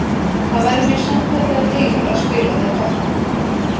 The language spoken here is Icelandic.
Það væri mér sannkallaður heiður að spila með Totti.